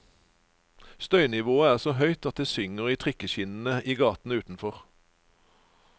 Støynivået er så høyt at det synger i trikkeskinnene i gaten utenfor.